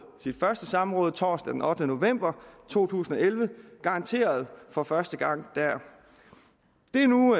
sit første samråd torsdag den ottende november to tusind og elleve garanterede for første gang det er nu